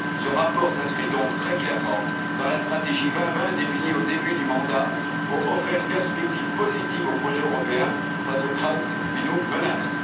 Ce rapport s'inscrit donc très clairement dans la stratégie Europe 2020, définie au début du mandat, pour offrir une perspective positive au projet européen face aux crises qui nous menacent.